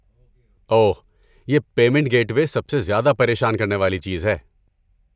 اوہ، یہ payment gateway سب سے زیادہ پریشان کرنے والی چیز ہے۔